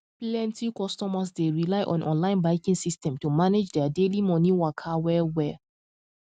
plenty customers dey rely on online banking system to manage their daily money waka well well